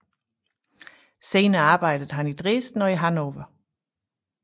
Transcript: Senere arbejdede han i Dresden og Hannover